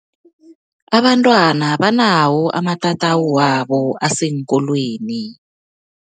Abantwana banawo amatatawu wabo aseenkolweni.